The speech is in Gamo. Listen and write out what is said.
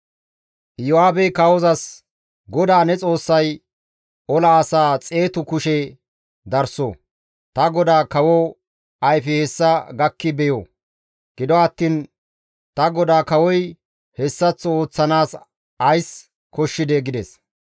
Iyo7aabey kawozas, «GODAA ne Xoossay ola asaa xeetu kushe darso; ta godaa kawo ayfey hessa gakki beyo; gido attiin ta godaa kawoy hessaththo ooththanaas ays koyidee?» gides.